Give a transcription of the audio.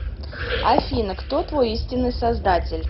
афина кто твой истинный создатель